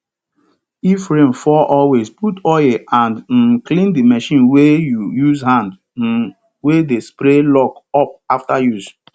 if rain fall always put oil and um clean the machine wey you use hand um wey dey spray lock up after use